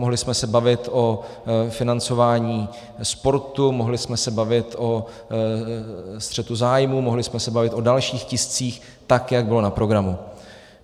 Mohli jsme se bavit o financování sportu, mohli jsme se bavit o střetu zájmů, mohli jsme se bavit o dalších tiscích, tak jak bylo na programu.